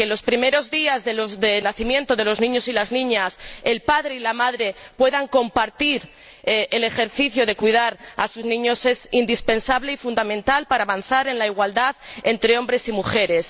Que, los primeros días tras el nacimiento de los niños y las niñas, el padre y la madre puedan compartir el ejercicio de cuidar a sus niños es indispensable y fundamental para avanzar en la igualdad entre hombres y mujeres.